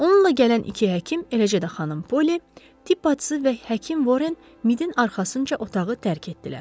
Onunla gələn iki həkim, eləcə də Xanım Polly, tibb bacısı və həkim Warren Midin arxasınca otağı tərk etdilər.